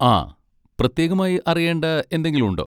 ആ. പ്രത്യേകമായി അറിയേണ്ട എന്തെങ്കിലും ഉണ്ടോ?